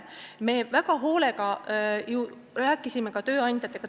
Me väga hoolega ju rääkisime tööandjatega.